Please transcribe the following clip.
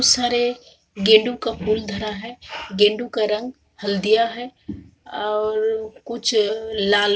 बहुत सारे गेंडु का फुल धरा है गेंडुओ का रंग हल्दिया है और कुछ लाल--